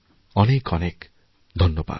অনেক অনেকধন্যবাদ